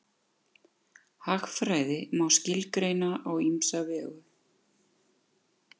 Hagfræði má skilgreina á ýmsa vegu.